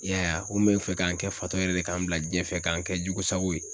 I y'a ye a, u kun bɛ fɛ ka n kɛ fatɔ yɛrɛ de ka n bila diɲɛ fɛ ka n kɛ jugu sago ye.